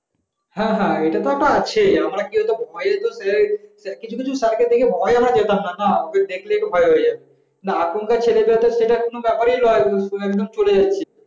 হ্যাঁ হ্যাঁ এটা তো আছেই কিছু কিছু স্যারকে দেখলে ভয় আমার সামনে যেতাম না এখনকার দিনে ছেলে পেলে কোন ব্যাপার নয় চলে যাচ্ছে।